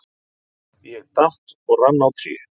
Ég datt og rann á tré.